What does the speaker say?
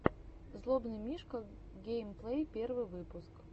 злобный мишка геймплей первый выпуск